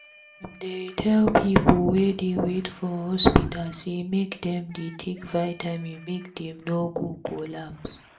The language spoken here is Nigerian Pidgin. dem dey tell people wey dey wait for hospital say make dem dey take vitamin make dem no go collapse